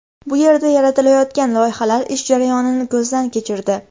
Bu yerda yaratilayotgan loyihalar, ish jarayonini ko‘zdan kechirdi.